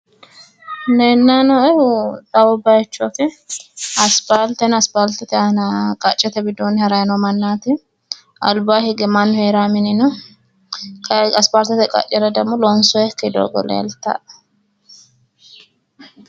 Leellayi nooehu xawu bayichooti. Aspaalte no. Aspaaltete aana qacceete widoonni harayi noo mannaati. Albaa hige mannu heerawo mini no. Kayi aspaaltete qaccera demmo loonsoyikki doogo leeltawoe.